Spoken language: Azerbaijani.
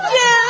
Babacığım!